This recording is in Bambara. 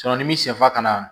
ni min sifa kana